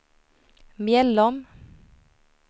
Mjällom